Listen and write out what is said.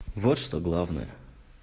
вот что главное